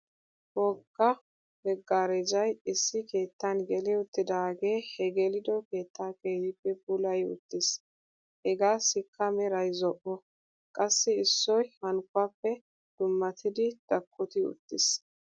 Wogga meggarejay issi keettan geli uttidaagee he gelido keetta keehippe puulayi uttis. Hegaassikka meray zo'o. Qassi issoy hankkuwaappe dummatidi dakkoti uttis.